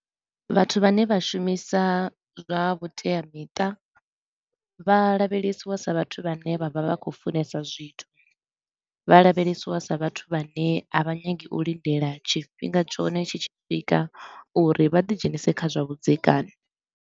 Vhathu vhane vha shumisa zwa vhuteamiṱa, vha lavhelesiwa sa vhathu vhane vha vha vha khou funesa zwithu, vha lavhelesiwa sa vhathu vhane a vha nyagi u lindela tshifhinga tshone tshi tshi swika uri vha ḓi dzhenise kha zwa vhudzekani.